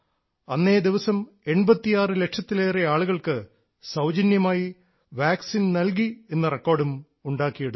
അന്നേദിവസം 86 ലക്ഷത്തിലേറെ ആളുകൾക്ക് സൌജന്യമായി വാക്സിൻ നൽകി എന്ന റെക്കോർഡും ഉണ്ടാക്കിയെടുത്തു